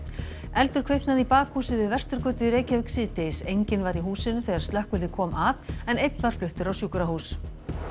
eldur kviknaði í bakhúsi við Vesturgötu í Reykjavík síðdegis enginn var í húsinu þegar slökkvilið kom að en einn var fluttur á sjúkrahús